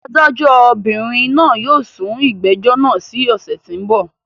Adájọ́bìnrìn yóò sún ìgbẹ́jọ́ náà sí ọ̀ṣẹ̀ tí ń bọ̀.